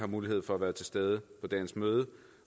mulighed for at være til stede i dagens møde